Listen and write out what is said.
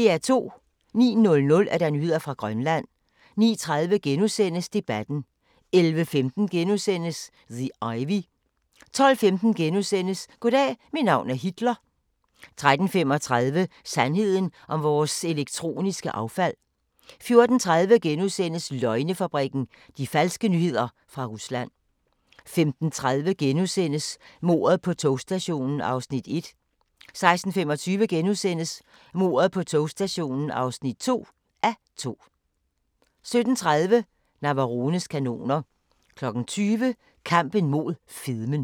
09:00: Nyheder fra Grønland 09:30: Debatten * 11:15: The Ivy * 12:15: Goddag, mit navn er Hitler * 13:35: Sandheden om vores elektroniske affald 14:30: Løgnefabrikken – de falske nyheder fra Rusland * 15:30: Mordet på togstationen (1:2)* 16:25: Mordet på togstationen (2:2)* 17:30: Navarones kanoner 20:00: Kampen mod fedmen